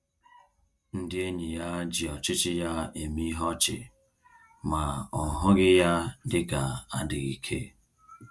Ndị enyi ya ji ọchịchị ya eme ihe ọchị, ma ọ hụghị ya dịka adịghị ike